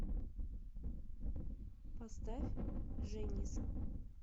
поставь женис